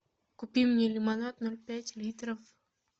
купи мне лимонад ноль пять литров